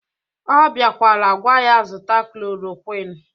Ọ biakwara gwa ya zụta klorokwin